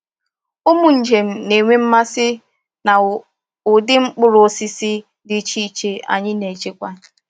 Ụmụ njem na-enwe mmasị na ụdị mkpụrụ osisi dị iche iche anyị na-echekwa.